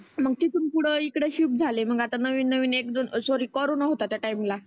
मग तीथुन पुढ इकड शिफ्ट झाले. मग आता नविन नविन एक दोन सॉरी कोरोना होता त्या टाइम ला.